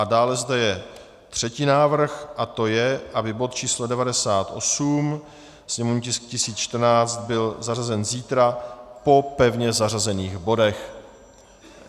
A dále zde je třetí návrh a to je, aby bod číslo 98, sněmovní tisk 1014, byl zařazen zítra po pevně zařazených bodech.